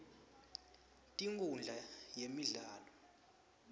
tinkundla yemdlalo